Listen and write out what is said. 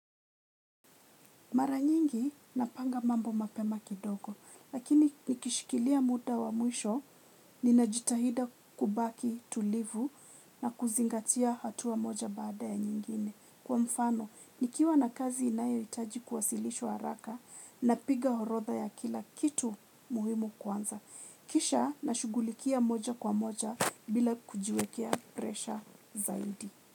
Mara nyingi napanga mambo mapema kidogo lakini nikishikilia muda wa mwisho ninajitahidi kubaki tulivu na kuzingatia hatua moja baada ya nyingine. Kwa mfano nikiwa na kazi inayo hitaji kuwasilishwa haraka napiga orodha ya kila kitu muhimu kwanza. Kisha na shughulikia moja kwa moja bila kujiwekea presha zaidi.